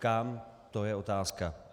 Kam, to je otázka.